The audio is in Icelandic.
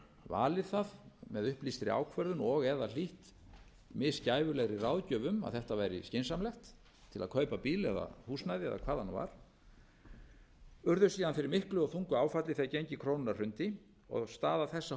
valið það með upplýstri ákvörðun og eða hlítt mis gæfulegri ráðgjöf um að þetta væri skynsamlegt til að kaupa bíl eða húsnæði eða hvað það nú var urðu síðan fyrir miklu og þungu áfalli þegar gengi krónunnar hrundi og staða þessa